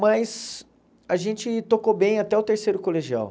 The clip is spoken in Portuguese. Mas a gente tocou bem até o terceiro colegial.